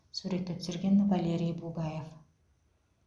суретті түсірген валерий бугаев